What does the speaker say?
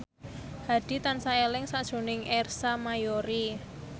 Hadi tansah eling sakjroning Ersa Mayori